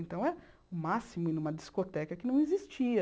Então, era o máximo ir numa discoteca que não existia.